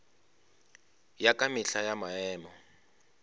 ya ka mehla ya maemo